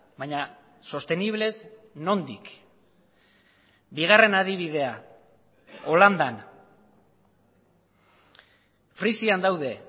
baina sostenibles nondik bigarren adibidea holandan frisian daude